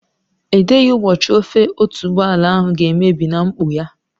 Edeghị ụbọchị ofe otuboala ahụ ga-emebi na nkpọ ya.